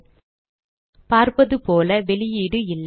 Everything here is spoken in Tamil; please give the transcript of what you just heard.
00416052 000458 பார்ப்பதுபோல வெளியீடு இல்லை